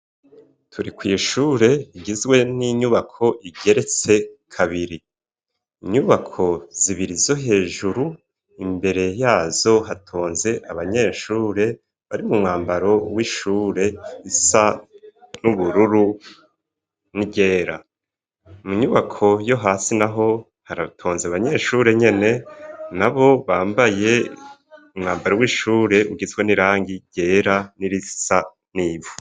Turi kw'ishure igizwe n'inyubako igeretse kabiri inyubako zibira izo hejuru imbere yazo hatonze abanyeshure bari mu mwambaro w'ishure isa n'ubururu nigera munyubako yo hasi, naho haratonze abanyeshure nyene na bo bambaye umwambara w'ishure ugitswa n'irangi ryera n'irisa n'ivu.